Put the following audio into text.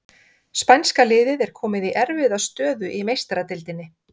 Spænska liðið er komið í erfiða stöðu í Meistaradeildinni!